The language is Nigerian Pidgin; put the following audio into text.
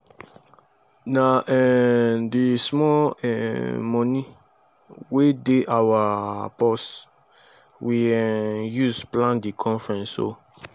na um di small um moni wey dey our purse we um use plan di conference o.